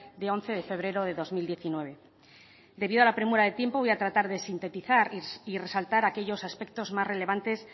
de once de febrero de dos mil diecinueve debido a la premura de tiempo voy a tratar de sintetizar y resaltar aquellos aspectos más relevantes